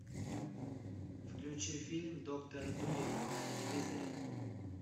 включи фильм доктор дулиттл на телевизоре